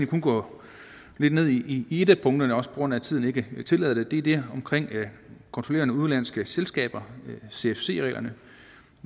kun gå lidt ned i et af punkterne også på grund af at tiden ikke tillader det det er det omkring kontrollerende udenlandske selskaber cfc reglerne